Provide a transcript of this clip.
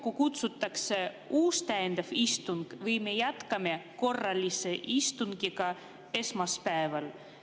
Kas kutsutakse kokku uus täiendav istung või me jätkame korralise istungiga esmaspäeval?